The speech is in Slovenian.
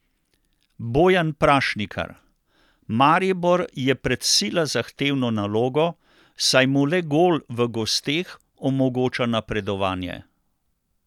Bojan Prašnikar: "Maribor je pred sila zahtevno nalogo, saj mu le gol v gosteh omogoča napredovanje.